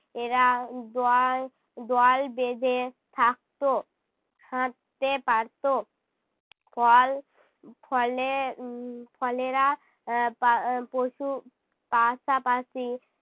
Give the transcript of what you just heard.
এরা দল দল বেঁধে থাকতো। হাঁটতে পারতো, ফল ফলে উহ ফলেরা আহ পা পশু পাশাপাশি